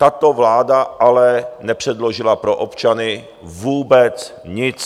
Tato vláda ale nepředložila pro občany vůbec nic.